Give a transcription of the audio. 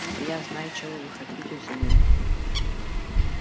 я знаю чего вы хотите взамен